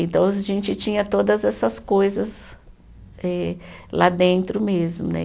Então a gente tinha todas essas coisas eh lá dentro mesmo né.